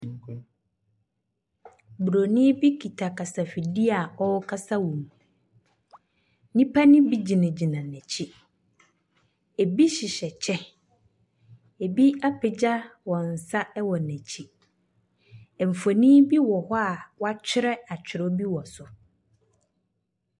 Nkwa…buronin bi kita kasafidie a ɔrekasa wɔ mu. Nnipa no bi gyinagyina n'akyi. Ɛbi hyehyɛ kyɛ, abi apagya wɔn nsa wɔ n'akyi. Mfonin bi wɔn hɔ a wɔatwerɛ atwerɛ bi wɔ so.